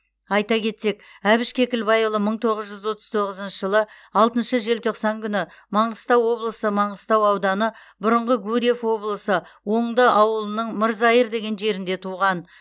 айта кетсек әбіш кекілбайұлы мың тоғыз жүз отыз тоғызыншы жылы алтыншы желтоқсан күні маңғыстау облысы маңғыстау ауданы бұрыңғы гурьев облысы оңды ауылының мырзайыр деген жерінде туған